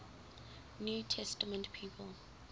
new testament people